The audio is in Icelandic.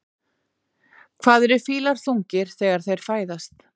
Hvað eru fílar þungir þegar þeir fæðast?